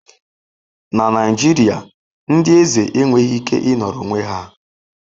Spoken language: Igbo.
Na Naijiria, ndị eze enweghị ike ịnọrọ onwe ha.